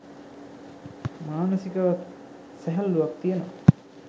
මානසිකවත් සැහැල්ලුවක් තියෙනවා